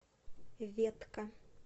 ветка